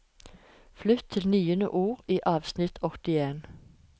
Flytt til niende ord i avsnitt åttien